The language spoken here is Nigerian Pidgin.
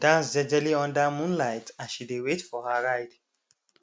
she bin dance jejely under moonlight as she dey wait for her ride